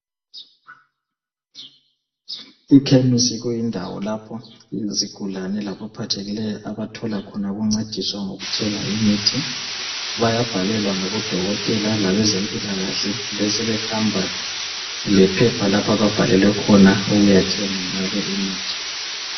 Ikhemisi kuyindawo lapho izigulane laba phathekileyo abathola ukuncediswa ngokuthenga imithi bayabhalelwa ngabo dokotela abezempilakahle besebehamba lephepha lapho ababhalelwe khona ukuyathenga ngalo imithi.